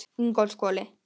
Ingólfshvoli